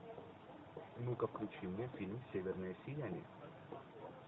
ну ка включи мне фильм северное сияние